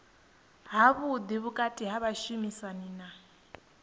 havhuḓi vhukati ha vhashumisani na